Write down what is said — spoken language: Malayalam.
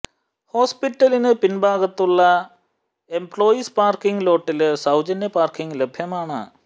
ഹോസ്പിറ്റലിനു പിന്ഭാഗത്തുള്ള എംപ്ലോയീസ് പാര്ക്കിംഗ് ലോട്ടില് സൌജന്യ പാര്ക്കിംഗ് ലഭ്യമാണ്